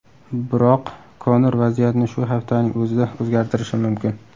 Biroq Konor vaziyatni shu haftaning o‘zida o‘zgartirishi mumkin.